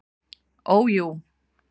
Ó jú.